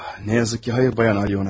Ah, təəssüf ki, xeyr, xanım Alyona.